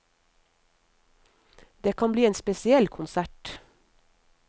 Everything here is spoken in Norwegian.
Det kan bli en spesiell konsert.